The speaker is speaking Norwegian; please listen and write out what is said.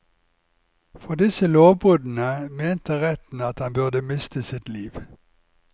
For disse lovbruddene mente retten at han burde miste sitt liv.